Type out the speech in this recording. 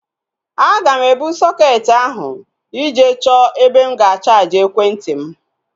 Aga m ebu sọketi ahu ije chọọ ebe m ga-chaaji ekwentị m